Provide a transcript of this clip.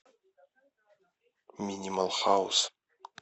минимал хаус